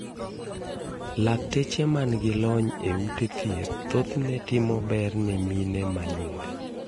Lakteche man gi lony e ute thieth thothne timo bero ne mine ma nyuol.